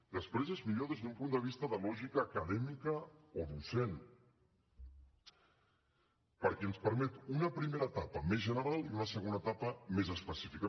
després és millor des d’un punt de vista de lògica acadèmica o docent perquè ens permet una primera etapa més general i una segona etapa més específica